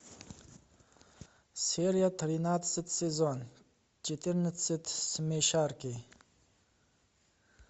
серия тринадцать сезон четырнадцать смешарики